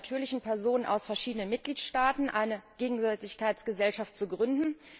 natürlichen Personen aus verschiedenen Mitgliedstaaten eine Gegenseitigkeitsgesellschaft zu gründen.